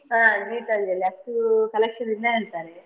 ಹಾ Geethanjali ಅಷ್ಟು collection ಇಲ್ಲ ಹೇಳ್ತಾರೆ.